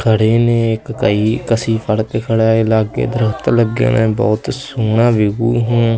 ਖੜੇ ਨੇ ਇੱਕ ਕਹੀ ਕਸੀ ਫੜਕ ਖੜਾਏ ਲਾਗੇ ਦਰਖਤ ਲੱਗੇ ਨੇ ਬਹੁਤ ਸੋਹਣਾ ਵਿਊ ਹਾਂ।